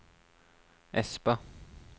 Espa